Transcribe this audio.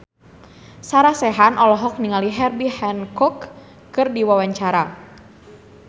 Sarah Sechan olohok ningali Herbie Hancock keur diwawancara